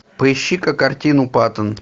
поищи ка картину паттон